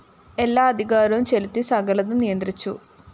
എല്ലാ അധികാരവും ചെലുത്തി സകലതും നിയന്ത്രിച്ചു